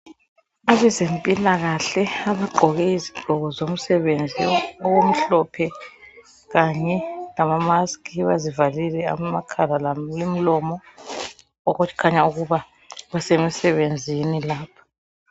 Abezempilakahle abagqoke izigqoko zomsebenzi okumhlophe kanye lama mask bazivalile amakhala lomlomo bayakhanya ukuba basemsebenzini lapha.